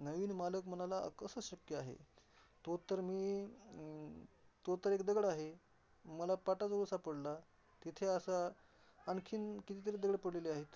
नवीन मालक म्हणाला अस कस शक्य आहे तो तर मी अं तो तर एक दगड आहे. मला पाटाजवळ सापडला. तिथे असा आणखीन कितीतरी दगडं पडलेले आहेत.